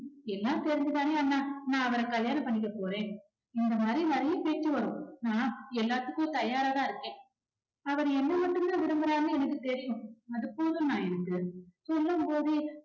எல்லாம் தெரிஞ்சு தானே அண்ணா நான் அவரை கல்யாணம் பண்ணிக்க போறேன் இந்த மாதிரி நிறைய பேச்சு வரும். நான் எல்லாத்துக்கும் தயாரா தான் இருக்கேன் அவர் என்னை மட்டும் தான் விரும்புறாருன்னு எனக்கு தெரியும் அது போதும் அண்ணா எனக்கு சொல்லும் போதே